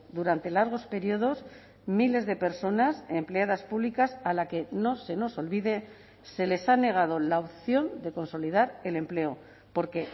durante largos periodos miles de personas empleadas públicas a la que no se nos olvide se les ha negado la opción de consolidar el empleo porque